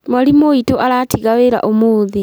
Mwarimũ witũ aratiga wĩra ũmũthĩ